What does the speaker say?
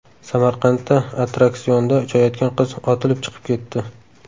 Samarqandda attraksionda uchayotgan qiz otilib chiqib ketdi .